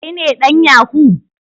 Kai ne dan yahoo?